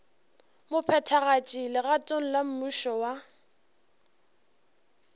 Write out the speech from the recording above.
mophethagatši legatong la mmušo wa